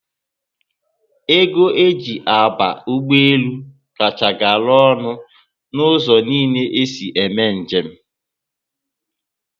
Ego eji aba ụgbọelu kacha gara ọnụ na ụzọ niile esi eme njem